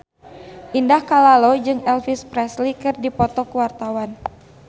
Indah Kalalo jeung Elvis Presley keur dipoto ku wartawan